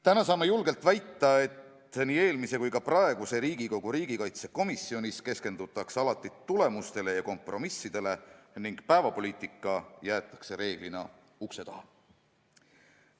Täna saame julgelt väita, et nii eelmises kui ka praeguses riigikaitsekomisjonis on keskendutud tulemustele ja kompromissidele ning päevapoliitika on reeglina ukse taha jäetud.